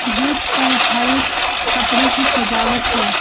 Gate पर हरे कपड़े की सजावट है।